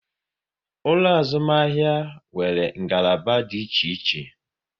Ụlọ azụmahịa nwere ngalaba dị iche iche